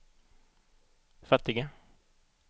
fattiga